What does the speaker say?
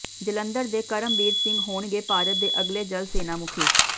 ਜਲੰਧਰ ਦੇ ਕਰਮਬੀਰ ਸਿੰਘ ਹੋਣਗੇ ਭਾਰਤ ਦੇ ਅਗਲੇ ਜਲ ਸੈਨਾ ਮੁਖੀ